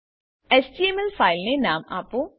HTML file ને નામ આપો